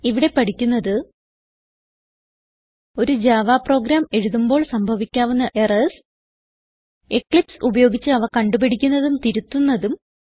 ഇവിടെ പഠിക്കുന്നത് ഒരു ജാവ പ്രോഗ്രാം എഴുതുമ്പോൾ സംഭവിക്കാവുന്ന എറർസ് എക്ലിപ്സ് ഉപയോഗിച്ച് അവ കണ്ടുപിടിക്കുന്നതും തിരുത്തുന്നതും